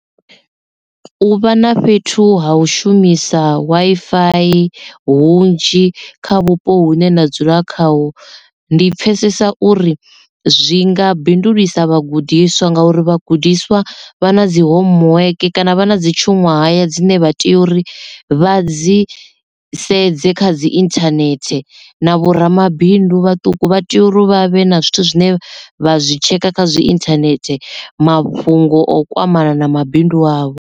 U vha na fhethu ha u shumisa Wi-Fi hunzhi kha vhupo hune na dzula khaho ndi pfesesa uri zwi nga bindulisa vhagudiswa ngauri vhagudiswa vha na dzi homework kana vha na dzi tshuṅwahaya dzine vha tea uri vha dzi sedze kha dzi internet na vhoramabindu vhaṱuku vha tea uri vha vhe na zwithu zwine vha zwi tshekha kha zwi internet mafhungo o kwamana na mabindu avho.